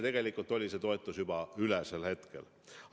Tegelikult oli see toetus sel hetkel juba üle.